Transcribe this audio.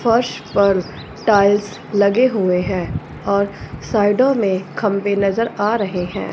फर्श पर टाइल्स लगे हुए हैं और साइडों में खंबे नजर आ रहे हैं।